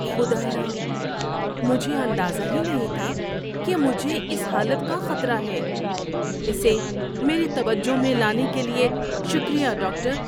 خدایا! مجھے اندازہ ہی نہیں تھا کہ مجھے اس حالت کا خطرہ ہے۔ اسے میری توجہ میں لانے کے لیے شکریہ، ڈاکٹر۔